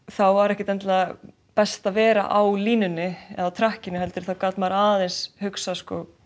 þá var ekkert endilega best að vera á línunni eða heldur þá gat maður aðeins hugsað